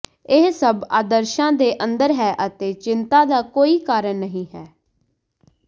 ਇਹ ਸਭ ਆਦਰਸ਼ਾਂ ਦੇ ਅੰਦਰ ਹੈ ਅਤੇ ਚਿੰਤਾ ਦਾ ਕੋਈ ਕਾਰਨ ਨਹੀਂ ਹੈ